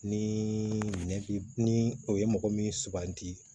Ni minɛn ni o ye mɔgɔ min suganti